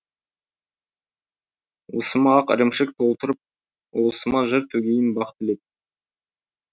уысыма ақ ірімшік толтырып ұлысыма жыр төгейін бақ тілеп